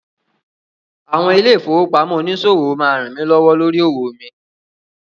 Àwọn ilé-ìfowópamọ́ oníṣòwò máa rànmí lọ́wọ́ lórí òwò mi.